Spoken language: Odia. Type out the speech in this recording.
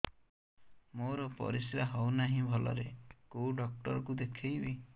ମୋର ପରିଶ୍ରା ହଉନାହିଁ ଭଲରେ କୋଉ ଡକ୍ଟର କୁ ଦେଖେଇବି